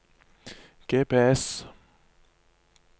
GPS